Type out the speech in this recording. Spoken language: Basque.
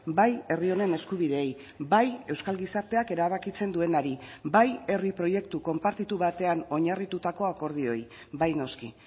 bai herri honen eskubideei bai euskal gizarteak erabakitzen duenari bai herri proiektu konpartitu batean oinarritutako akordioei bai noski